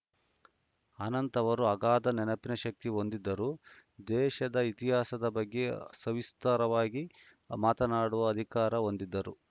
ಅನಂತ್‌ ಅವರು ಅಗಾಧ ನೆನಪಿನ ಶಕ್ತಿ ಹೊಂದಿದ್ದರು ದೇಶದ ಇತಿಹಾಸದ ಬಗ್ಗೆ ಸವಿಸ್ತಾರವಾಗಿ ಮಾತನಾಡುವ ಅಧಿಕಾರ ಹೊಂದಿದ್ದರು